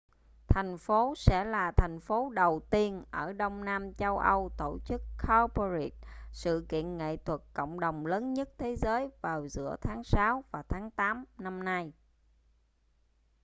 thành phố sẽ là thành phố đầu tiên ở đông nam châu âu tổ chức cowparade sự kiện nghệ thuật cộng đồng lớn nhất thế giới vào giữa tháng sáu và tháng tám năm nay